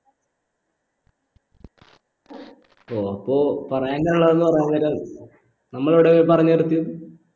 ഓ അപ്പൊ പറയാനുള്ളത് കുറേനേരം നമ്മളെവിടെന്ന് പറഞ്ഞ് നിർത്തിയത്